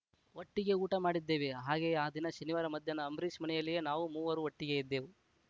ಒಟ್ಟಿಗೆ ಊಟ ಮಾಡಿದ್ದೇವೆ ಹಾಗೆಯೇ ಆ ದಿನ ಶನಿವಾರ ಮಧ್ಯಾಹ್ನ ಅಂಬರೀಷ್‌ ಮನೆಯಲ್ಲಿಯೇ ನಾವು ಮೂವರು ಒಟ್ಟಿಗೆ ಇದ್ದೇವು